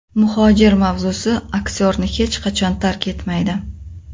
Muhojir mavzusi aktyorni hech qachon tark etmaydi.